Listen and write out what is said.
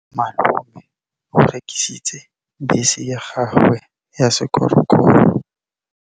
Malome o rekisitse bese ya gagwe ya sekgorokgoro.